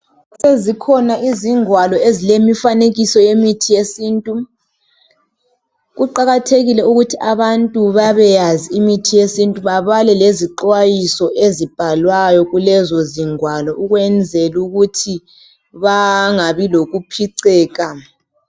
Sezikhona izingwalo ezilemfanekiso yemithi yesintu. Kuqakathekile ukuthi abantu babeyazi imithi yesintu babale lazixwayiso ezibhalwayo kulezo izingwalo ukwenzela ukuthi bangabi lokuphiceka.